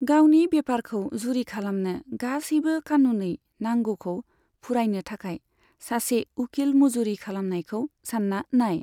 गावनि बेफारखौ जुरि खालामनो गासैबो खानुनै नांगौखौ फुरायनो थाखाय सासे उकिल मजुरि खालामनायखौ सानना नाय।